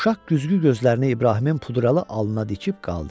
Uşaq güzgü gözlərini İbrahimin pudralı alnına dikib qaldı.